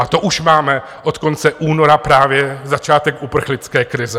A to už máme od konce února právě začátek uprchlické krize.